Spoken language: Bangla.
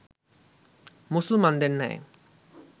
মুসলমানদের ন্যায়